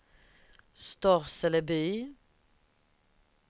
Storseleby